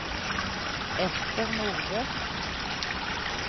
Ester Nordbø